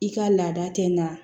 I ka laada tɛ nka